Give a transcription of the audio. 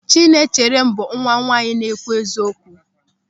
Chinaecherem bụ nwa nwaanyị na-ekwu eziokwu.